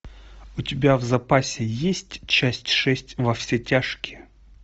у тебя в запасе есть часть шесть во все тяжкие